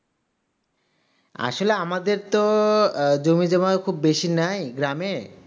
আসলে আমাদের তো জমি জায়গা বেশি নাই গ্রামে